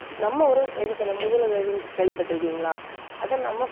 நம்ம ஒரு என்ன சொல்றது? முதலுதவின்னு கேள்விப்பட்டிருக்கீங்களா அதை நம்ம